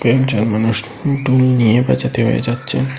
একজন মানুষ ঢুল নিয়ে বেজাতে বেজাচ্চে।